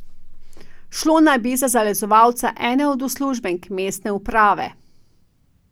Šlo naj bi za zalezovalca ene od uslužbenk mestne uprave.